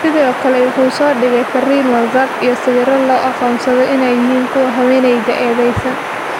Sidoo kale wuxuu soo dhigay fariin WhatsApp iyo sawiro loo aqoonsaday inay yihiin kuwa haweeneyda eedeysan.